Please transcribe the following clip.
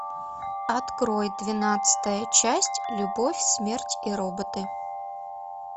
открой двенадцатая часть любовь смерть и роботы